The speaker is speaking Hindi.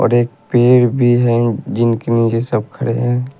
और एक पेड़ भी है जिनकी नीचे सब खड़े हैं।